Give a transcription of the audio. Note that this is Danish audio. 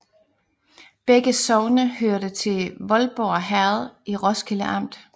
Begge sogne hørte til Voldborg Herred i Roskilde Amt